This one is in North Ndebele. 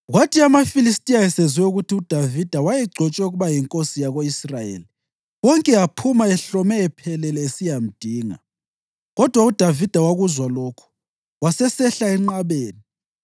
Kwathi amaFilistiya esezwe ukuthi uDavida wayegcotshwe ukuba yinkosi yako-Israyeli wonke aphuma ehlome ephelele esiyamdinga, kodwa uDavida wakuzwa lokho wasesehlela enqabeni.